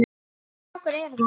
Hvaða strákar eru það?